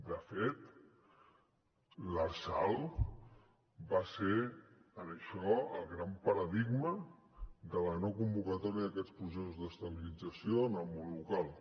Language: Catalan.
de fet l’lrsal va ser en això el gran paradigma de la no convocatòria d’aquests processos d’estabilització en el món local